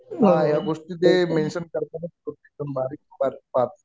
हा या गोष्टी ते मेंशन करतातच. एकदम बारीक बारीक पाहतात.